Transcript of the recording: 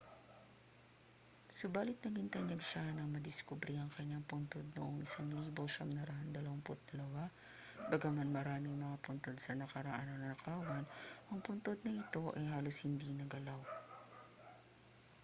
subali't naging tanyag siya nang madiskubre ang kaniyang puntod noong 1922 bagaman maraming mga puntod sa nakaraan ang nanakawan ang puntod na ito ay halos hindi naggalaw